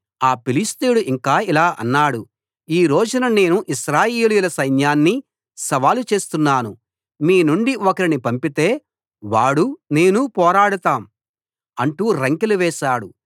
ఆ ఫిలిష్తీయుడు ఇంకా ఇలా అన్నాడు ఈ రోజున నేను ఇశ్రాయేలీయుల సైన్న్యాన్ని సవాలు చేస్తున్నాను మీ నుండి ఒకరిని పంపితే వాడూ నేనూ పోరాడతాం అంటూ రంకెలు వేశాడు